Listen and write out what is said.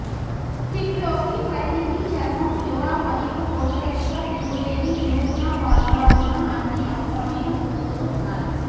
kit లోకి పరిణతి చర్మం యువ మరియు దోషరహిత తిరుగులేని వినూత్న ఫార్ములా ఉన్న అన్ని అవసరమైన ఉత్పత్తులు ఉన్నాయి